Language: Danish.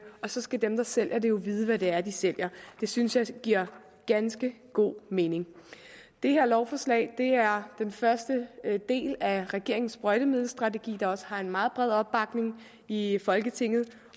så skal dem der sælger det jo vide hvad det er de sælger det synes jeg giver ganske god mening det her lovforslag er første del af regeringens sprøjtemiddelstrategi der også har en meget bred opbakning i folketinget